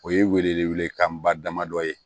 O ye wele welekanba damadɔ ye